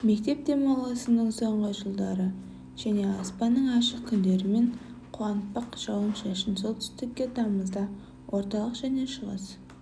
мектеп демалысының соңғы күндері жылы және аспанның ашық күндерімен қуантпақ жауын-шашын солтүстікте тамызда орталық және шығыс